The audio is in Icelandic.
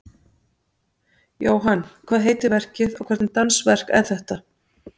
Jóhann, hvað heitir verkið og hvernig dansverk er þetta?